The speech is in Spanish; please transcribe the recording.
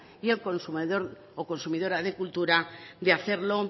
y el consumidor o consumidora de cultura de hacerlo